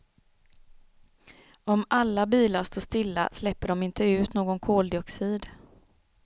Om alla bilar står stilla släpper de inte ut någon koldioxid.